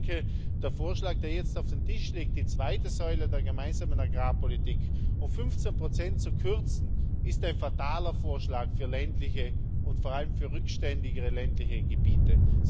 Ich denke, der Vorschlag, der jetzt auf dem Tisch liegt, die zweite Säule der Gemeinsamen Agrarpolitik um 15 zu kürzen, ist ein fataler Vorschlag für ländliche und vor allem für rückständigere ländliche Gebiete.